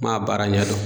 N m'a baara ɲɛdɔn